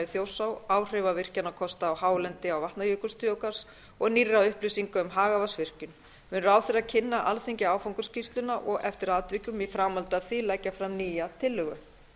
þjórsá áhrifavirkjanakosta á hálendi vatnajökulsþjóðgarðs og nýrra upplýsinga um hagavatnsvirkjun mun ráðherra kynna alþingi áfangaskýrsluna og eftir atvikum í framhaldi af því leggja fram nýja tillögu